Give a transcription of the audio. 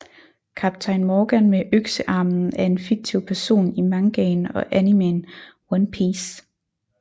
Kaptajn Morgan med Øksearmen er en fiktiv person i mangaen og animeen One Piece